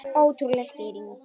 Ótrúleg skýring